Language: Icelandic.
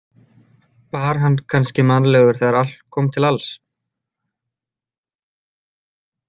Var hann kannski mannlegur þegar allt kom til alls?